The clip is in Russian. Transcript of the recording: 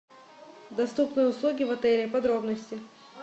доступные услуги в отеле подробности